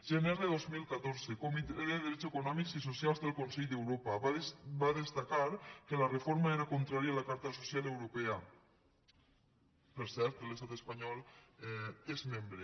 gener de dos mil catorze comitè de drets econòmics i socials del consell d’europa va destacar que la reforma era contrària a la carta social europea per cert que l’estat espanyol n’és membre